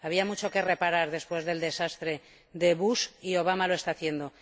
Había mucho que reparar después del desastre de Bush y Obama lo está haciendo.